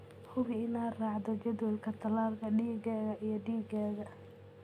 Hubi inaad raacdo jadwalka tallaalka digaagga iyo digaagga.